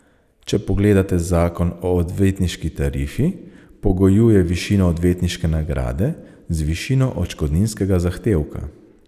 Če pogledate zakon o odvetniški tarifi, pogojuje višino odvetniške nagrade z višino odškodninskega zahtevka.